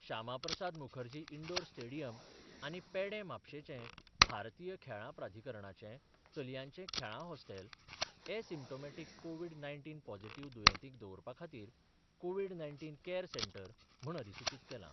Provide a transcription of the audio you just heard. Shyama Prasad Mukherjee indoor stadium आनी पेडे म्हापशेंचे भारतीय खेळां प्राधिकरणाचे चलयांचे खेळां hostel asymptomatic Covid nineteen positive दुयेंतींक दवरपा खातीर कोवीड नाय्नटीन कॅअर सेंटर म्हण अधिसुचीत केलां.